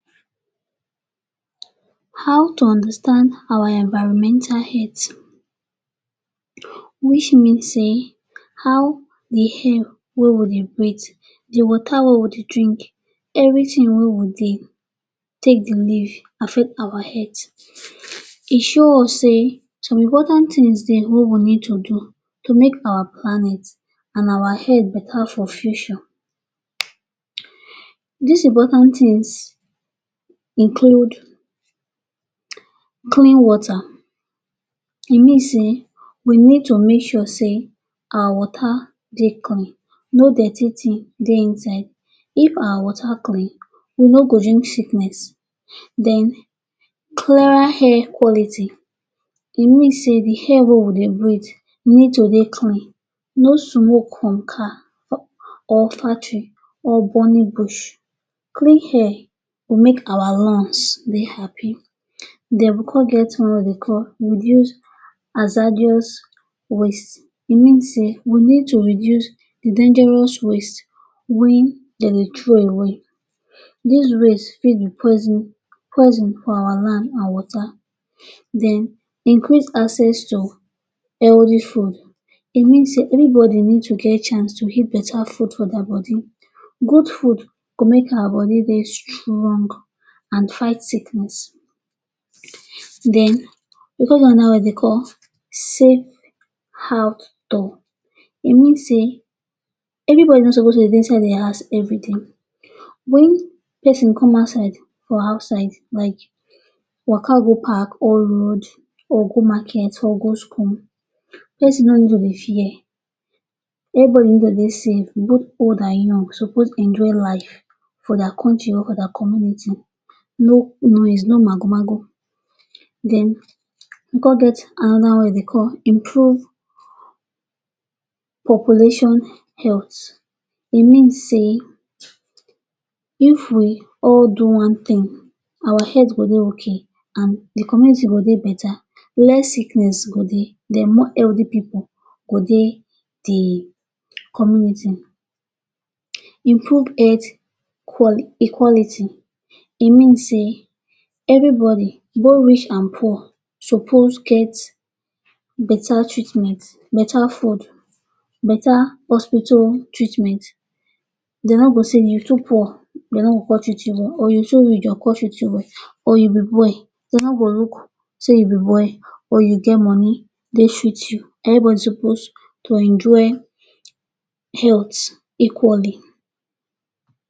How to understand our environmental health Which means say how di air wey we dey breath, di water wey we dey drink, evritin wey we dey take to live, affect our health. E show us say some important tins dey wey we need to do to make our planet and our Earth betta for future. Dis important tins include clean water. E mean say we need to make sure say our water dey clean, no dirty tin dey inside. If our water clean, we no go get sickness. Den clearer air quality. E mean say di air wey we dey breath need to dey clean, no smoke, no, or factory or burning bush. Clean air make our lungs dey happy. Den we come get wetin dem dey call reduce hazardous waste, mean say we need to reduce dangerous waste wey dem dey throw away. Dis waste fit be poison for our land and water. Den increase access to healthy food. E mean say always, evribody need to get chance to eat betta food for dia body. Good food go make our body dey strong and fight sickness. Den we come get anoda one wey dem dey call safe outdoor. E mean say everybody no suppose dey inside di house evri day. Wen pesin come outside for outside like waka go park or road or go market or go school, pesin no need to dey fear evribody. But old and young suppose enjoy life for dia kontri or for dia community. No noise, no magu-magu. Den we come get anoda one wey dem dey call improved population health. E mean say if we all do one tin, our head go dey okay and di community go dey betta. Less sickness go dey, den more healthy pipu go dey di community. Improve health equality. E mean say evribody, both rich and poor, suppose get betta treatment, betta food, betta hospital treatment. Dem no go say you too poor, dem no go come treat you. Or. Or you be boy, dem no go look say you be boy or you get money dey treat you. Evribody suppose to enjoy health equally.